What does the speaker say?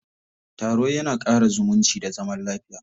Taro ya na ƙara zumunci da zaman lafiya.